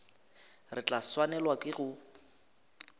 re tla swanelwa ke go